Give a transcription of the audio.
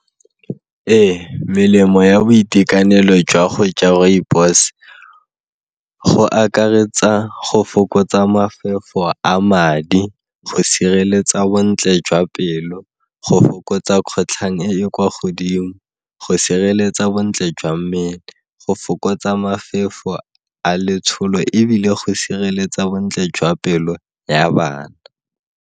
Ee, melemo ya boitekanelo jwa go ja rooibos go akaretsa go fokotsa mafefo a madi, go sireletsa bontle jwa pelo, go fokotsa kgwetlhang e e kwa godimo, go sireletsa bontle jwa mmele, go fokotsa mafefo a letsholo ebile go sireletsa bontle jwa pelo ya bana.